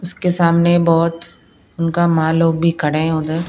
उसके सामने बहुत उनका मां लोग भी खड़े हैं उधर--